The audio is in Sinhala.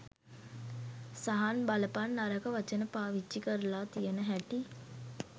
සහන් බලපන් නරක වචන පාවිච්චි කරලා තියන හැටි